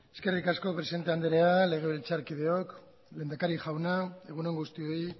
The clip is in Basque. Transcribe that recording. eskerrik asko presidente andrea legebiltzarkideak lehendakari jauna egun on guztioi